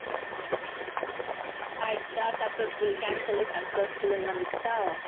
ஆயிடுச்சா successful cancel ன்னு successful ன்னு வந்துடுச்சா